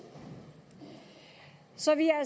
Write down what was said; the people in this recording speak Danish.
så vi er